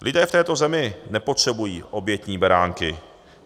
Lidé v této zemi nepotřebují obětní beránky.